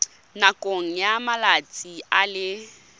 nakong ya malatsi a le